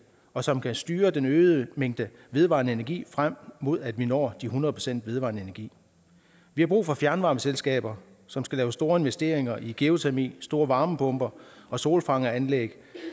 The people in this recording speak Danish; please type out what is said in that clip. og som kan styre den øgede mængde vedvarende energi frem mod at vi når de hundrede procent vedvarende energi vi har brug for fjernvarmeselskaber som skal lave store investeringer i geotermi store varmepumper og solfangeranlæg